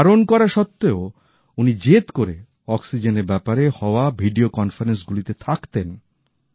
বারণ করা সত্বেও উনি জেদ করে অক্সিজেনের ব্যাপারে হওয়া ভিডিও কনফারেন্স গুলিতে থাকতেন